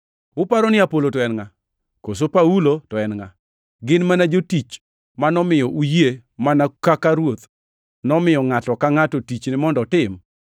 Uparo ni Apolo to en ngʼa? Koso Paulo to en ngʼa? Gin mana jotich manomiyo uyie mana kaka Ruoth nomiyo ngʼato ka ngʼato tichne mondo otim.